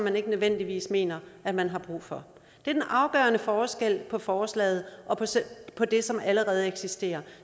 man ikke nødvendigvis mener at man har brug for det er en afgørende forskel på forslaget og på det som allerede eksisterer